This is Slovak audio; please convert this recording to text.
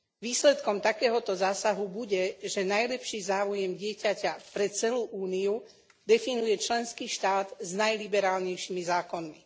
Výsledkom takéhoto zásahu bude, že najlepší záujem dieťaťa pre celú Úniu definuje členský štát s najliberálnejšími zákonmi.